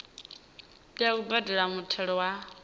tea u badela muthelo wa